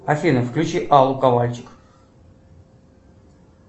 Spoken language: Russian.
афина включи аллу ковальчук